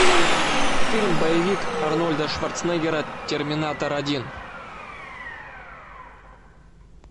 фильм боевик арнольда шварценеггера терминатор один